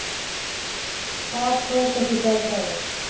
Þar tók ekki betra við